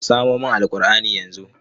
Ka samo min Alqur'ani yanzu!